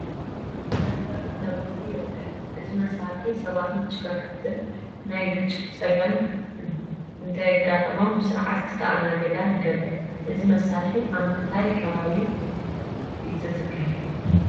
ናይ ትራፊክ መብራህቲ ይርአ ኣሎ፡፡ እዚ መሳርሒ ሰባትን ተሽከርከርትን ናይ ግጭት ፀገም እንተይገጠሞም ብስርዓት ክስተኣናገዳን ይገብር፡፡ እዚ መሳርሒ ኣብ ምንታይ ከባቢ እዩ ዝትከል?